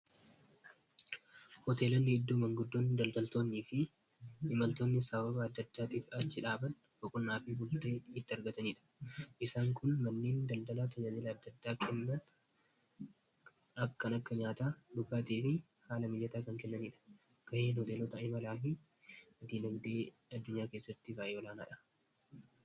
hoteelonni iddoo manguddoonni, daldaltoonnii fi imaltoonni sababa addaddaatiif achi dhaaban bunaafii bultee itti argataniidha isaan kun manneen daldalaa tajaajila addaddaa kennan akkan akka nyaataa dhugaatii fi haala mijataa kan kennaniidha ga'een hoteelota imalaa fi diinagdee addunyaa keessatti faayidaa oolaanaadha